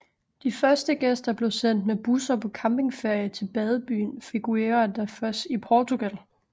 De første gæster blev sendt med busser på campingferie til badebyen Figuera da Foz i Portugal